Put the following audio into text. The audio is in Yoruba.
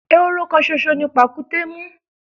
Ehoro kan ṣoṣo ni pàkúté mú.